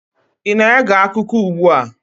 ị na-ege akụkọ ugbu a?